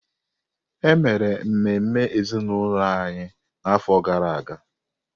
E mere ememe ezinụlọ anyị n’afọ gara aga.